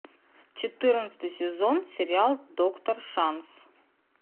четырнадцатый сезон сериал доктор шанс